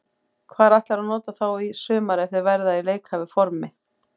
Hvar ætlarðu að nota þá í sumar ef þeir verða í leikhæfu formi?